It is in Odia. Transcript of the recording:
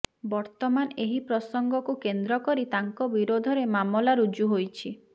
ବର୍ତ୍ତମାନ ଏହି ପ୍ରସଙ୍ଗକୁ କେନ୍ଦ୍ର କରି ତାଙ୍କ ବିରୋଧରେ ମାମଲା ରୁଜୁ ହୋଇଛି